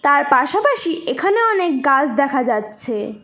আর পাশাপাশি এখানেও অনেক গাছ দেখা যাচ্ছে।